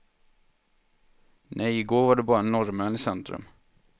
Nej, igår var det bara norrmän i centrum.